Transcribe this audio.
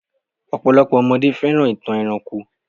Ọ̀pọ̀lopọ̀ ọmọdé fẹ́ràn ìtàn ẹranko.